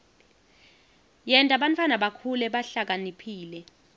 yenta bantfwana bakhule bahlakaniphile